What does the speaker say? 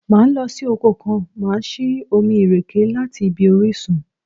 Máa lọ sí oko kan, màá sì omi ìrèké láti ibi orísun.